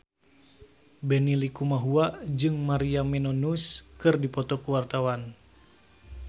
Benny Likumahua jeung Maria Menounos keur dipoto ku wartawan